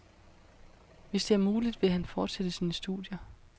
Hvis det er muligt, vil han fortsætte sine studier.